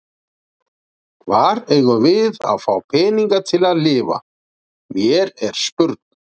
Hvar eigum við að fá peninga til að lifa, mér er spurn.